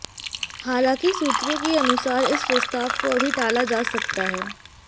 हालांकि सूत्रों के अनुसार इस प्रस्ताव को अभी टाला जा सकता है